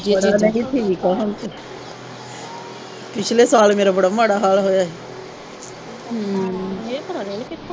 ਨਹੀਂ ਠੀਕ ਆ ਹੁਣ ਤੇ ਪਿਛਲੇ ਸਾਲ ਮੇਰਾ ਬੜਾ ਮਾੜਾ ਹਾਲ ਹੋਇਆ ਹੀ